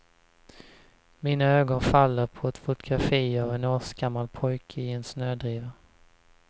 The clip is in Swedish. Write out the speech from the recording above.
Mina ögon faller på ett fotografi av en årsgammal pojke i en snödriva.